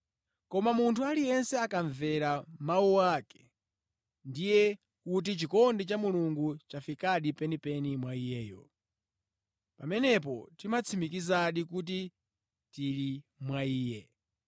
Koma munthu aliyense akamvera mawu ake, ndiye kuti chikondi cha Mulungu chafikadi penipeni mwa iyeyo. Pamenepo timatsimikizadi kuti tili mwa Iye.